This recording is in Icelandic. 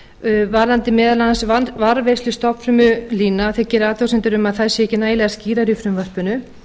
frumvarpið varðandi meðal annars varðveislu stofnufrumulína þeir gera athugasemdir við að þær séu ekki nægilega skýrar í frumvarpinu